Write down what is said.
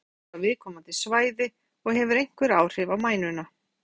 Þá baðar lyfið taugarætur á viðkomandi svæði og hefur einhver áhrif á mænuna.